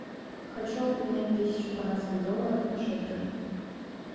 хочу обменять тысячу канадских долларов на шекели